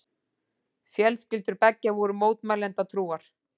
Fjölskyldur beggja voru mótmælendatrúar.